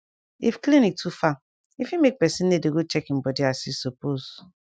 if clinic too far e fit make pesin no dey go check im body as e suppose